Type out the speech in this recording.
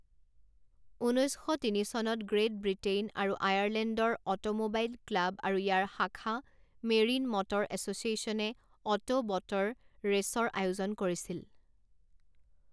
ঊনৈছ শ তিনি চনত গ্ৰেট ব্ৰিটেইন আৰু আয়াৰলেণ্ডৰ অটোম'বাইল ক্লাব আৰু ইয়াৰ শাখা মেৰিন মটৰ এছ'চিয়েশ্যনে অটো ব'টৰ ৰে'চৰ আয়োজন কৰিছিল।